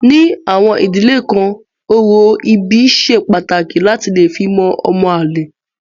Ní àwọn ìdílé kan orò ìbí ṣe pàtàkì láti lè fi mọ ọmọ àlè.